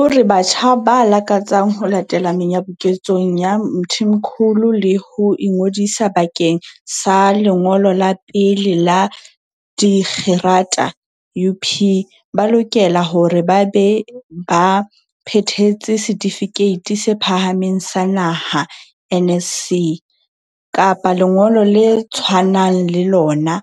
O re batjha ba lakatsang ho latela menyabuketsong ya Mthimkhulu le ho ingodisa bakeng sa lengolo la pele la dikgerata UP ba lokela hore ba be ba phethetse Setifikeiti se Phahameng sa Naha, NSC, kapa lengolo le tshwanang le lona,